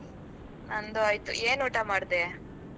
ನಂದು ಆಯ್ತು. ಏನ್ ಊಟ ಮಾಡ್ದೆ?